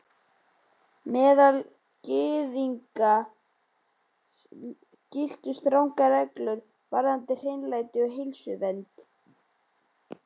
Meðal Gyðinga giltu strangar reglur varðandi hreinlæti og heilsuvernd.